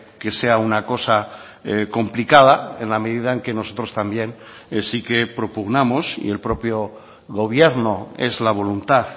que sea una cosa complicada en la medida en que nosotros también sí que propugnamos y el propio gobierno es la voluntad